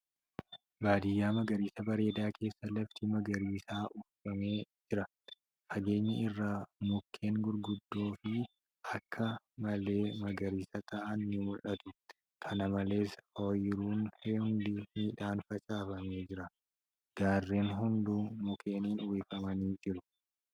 Baadiyyaa magariisa bareedaa keessa lafti magariisaan uwwifamee jira. Fageenya irraa mukkeen gurguddoo fi akka malee magarisa ta'an ni mul'atu. Kana malees, ooyiruun hundi midhaan facaafamee jira. Gaarreen hunduu mukkeeniin uwwifamanii jiru.